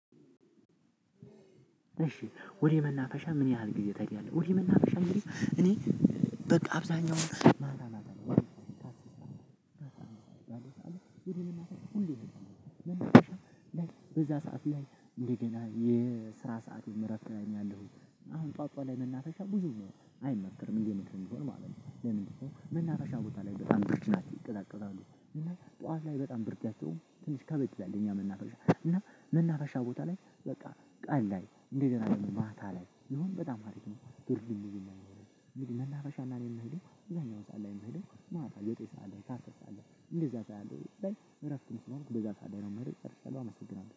እሺ ወደ መናፈሻ ምን ያህል ጊዜ ትሄዳለህ ወደ መናፈሻ? እኔ በቃ አብዛኛው ማለት ነው ሁሌ በዛ ሰዓት ላይ እንደገና እኔ ስራ ሰዓቴም ረፍት ላይ ነኝ ያለሁት። አሁን ጧት ጧት ላይ መናፈሻ ብዙም አይመከርም እንደ ምክርም ቢሆን ማለት ነው። ለምንድ ነው መናፈሻ ቦታ ላይ በጣም ብድ ናቸው ይቀዛቀዛሉ እና ጠዋት ላይ በጣም ብርዳቸውም ትንሽ ከበድ ይላል። የኛ መናፈሻ እና መናፈሻ ቦታ ላይ በቃ ቀን ላይ እንደ ገና ደግሞ ማታ ላይ ቢሆን በጣም አሪፍ ነው። ብርዱም መናፈሻ እና እኔ የምሄደው እዛኛው ሰዓት ላይ የምሄደው ማታ ዘጠኝ ሰዓት ላይ አስር ሰዓት ላይ እንደዛ ሰዓት ላይ እረፍትም ስለሆንኩ በዛ ሰዓት ነው የምሄደው ጨርሻለሁ አመሰግናለሁ።